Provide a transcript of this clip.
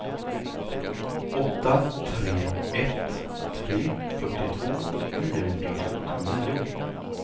åtta tre ett tre fyrtiotvå niohundrasjuttionio